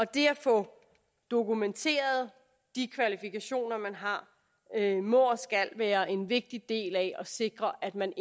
det at få dokumenteret de kvalifikationer man har må og skal være en vigtig del af at sikre at man